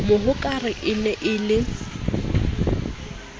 mohokare e ne e le